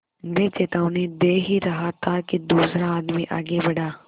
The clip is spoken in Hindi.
मैं चेतावनी दे ही रहा था कि दूसरा आदमी आगे बढ़ा